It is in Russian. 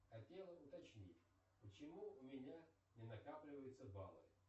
хотела уточнить почему у меня не накапливаются баллы